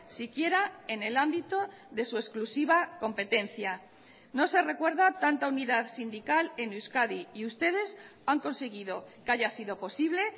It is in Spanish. si quiera en el ámbito de su exclusiva competencia no se recuerda tanta unidad sindical en euskadi y ustedes han conseguido que haya sido posible